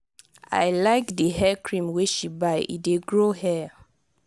i like di hair cream wey she buy e dey grow hair.